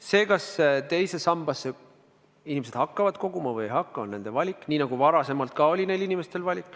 See, kas inimesed teise sambasse hakkavad koguma või ei hakka, on nende valik, nii nagu see osal ka seni oli nende valik.